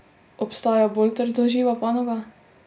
Obstaja bolj trdoživa panoga?